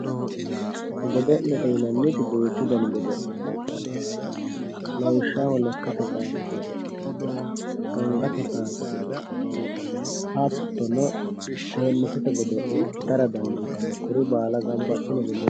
godo'lete yinanniti duuchu dani godo'le heedhanno lawishshaho lekkate kaase godo'le angate kaase godo'le hattono teennisete godo'le kuri baala ganba assine godo'lete yinanni